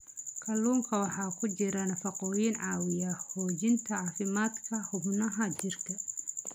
Kalluunka waxaa ku jira nafaqooyin caawiya xoojinta caafimaadka xubnaha jirka.